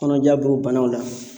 Kɔnɔja b'o banaw la